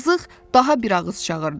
Zığ-zığ daha bir ağız çağırdı.